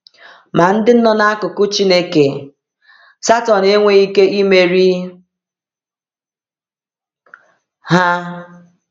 Ma ndị nọ n’akụkụ Chineke, Satọn enweghị ike imeri ha.